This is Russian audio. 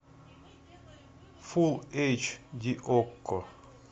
фулл эйч ди окко